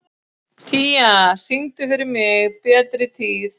Tía, syngdu fyrir mig „Betri tíð“.